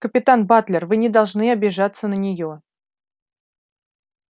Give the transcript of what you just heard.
капитан батлер вы не должны обижаться на нее